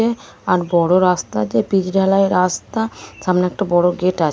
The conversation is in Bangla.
এ আর বড়ো রাস্তা যে পিচ ঢালাই রাস্তা। সামনে একটা বড়ো গেট আছে।